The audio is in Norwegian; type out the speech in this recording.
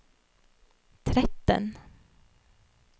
tretten